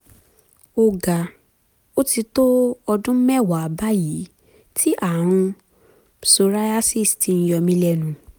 ọ̀gá ó ti tó ọdún mẹ́wàá báyìí tí ààrùn psoriasis ti ń yọ mí lẹ́nu